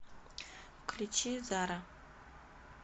включи зара